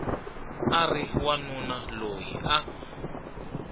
a ri wanuna loyi a